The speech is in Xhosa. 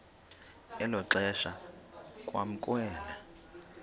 elo xesha kwamkelwe